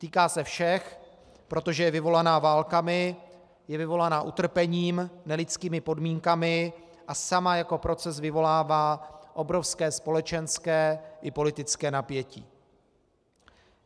Týká se všech, protože je vyvolaná válkami, je vyvolaná utrpením, nelidskými podmínkami a sama jako proces vyvolává obrovské společenské i politické napětí.